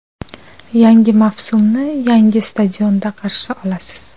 Yangi mavsumni yangi stadionda qarshi olasiz.